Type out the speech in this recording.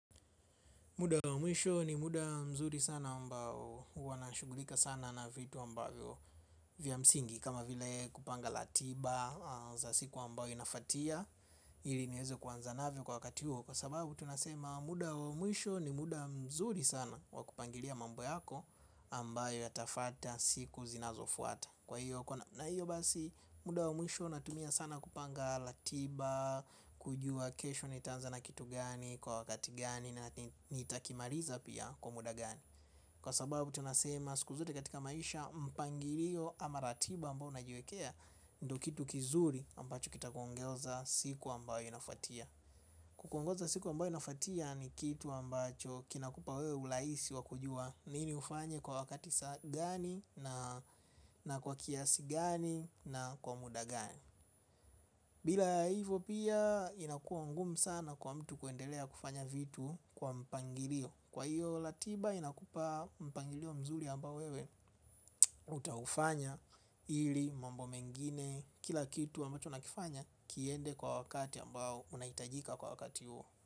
Muda wa mwisho ni muda mzuri sana ambao huwa na shughulika sana na vitu ambavyo vya msingi. Kama vile kupanga ratiba za siku ambayo inafuatia ili ni weze kuanza navyo kwa wakati huo. Kwa sababu tunasema muda wa mwisho ni muda mzuri sana wakupangilia mambo yako ambayo ya tafuata siku zinazofuata. Na hiyo basi muda wa mwisho natumia sana kupanga ratiba, kujua kesho nitanza na kitu gani, kwa wakati gani na nitakimaliza pia kwa muda gani. Kwa sababu tunasema siku zote katika maisha mpangilio ama ratiba ambayo unajiekea ndo kitu kizuri ambacho kita kuongoza siku ambayo inafuatia. Kuongoza siku ambayo inafuatia ni kitu ambacho kinakupa wewe urahisi wakujua nini ufanye kwa wakati saa gani na kwa kiasi gani na kwa muda gani. Bila hivo pia inakua ngumu sana kwa mtu kuendelea kufanya vitu kwa mpangilio. Kwa hiyo ratiba inakupa mpangilio mzuri ambao wewe utaufanya ili mambo mengine kila kitu ambacho nakifanya kiende kwa wakati ambayo unaitajika kwa wakati huo.